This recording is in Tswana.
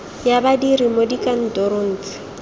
ya badiri mo dikantorong tse